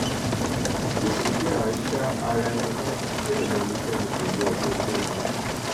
kò sí pé à ń sa ara ẹni ládàá bẹẹ lẹnikẹni kò yọ ọbẹ síra wọn